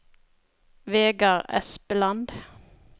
Vegard Espeland